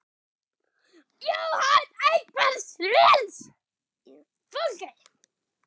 Jóhann: Einhver slys á fólki?